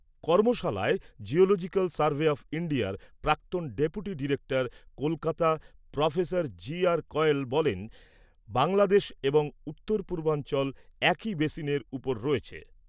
কর্মশালায় geological survey of ইন্ডিয়ার প্রাক্তন deputy director Kolkata, professor J R Kayal বলেন, বাংলাদেশ এবং উত্তর পূর্বাঞ্চল একই বেসিনের উপর রয়েছে।